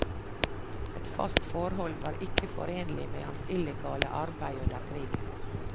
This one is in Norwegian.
Et fast forhold var ikke forenlig med hans illegale arbeid under krigen.